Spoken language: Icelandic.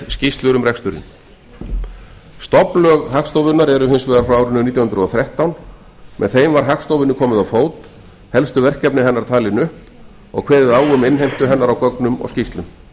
skýrslur um reksturinn stofnlög hagstofunnar eru hins vegar frá árinu nítján hundruð og þrettán með þeim var hagstofunni komið á fót helstu verkefni hennar talin upp og kveðið á um innheimtu hennar á gögnum og skýrslum